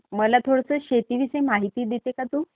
मला थोडंसं शेतीविषयी माहिती देते का तू?